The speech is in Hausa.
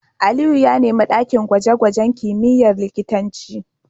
Aliyu ya nemi dakin gwaje-gwajen kimiyyar likitanci